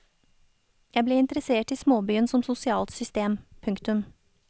Jeg ble interessert i småbyen som sosialt system. punktum